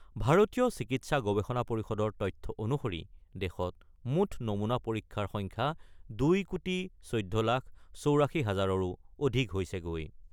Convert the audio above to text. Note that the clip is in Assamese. ভাৰতীয় চিকিৎসা গৱেষণা পৰিষদৰ তথ্য অনুসৰি দেশত মুঠ নমুনা পৰীক্ষাৰ সংখ্যা ২ কোটি ১৪ লাখ ৮৪ হাজাৰৰো অধিক হৈছেগৈ।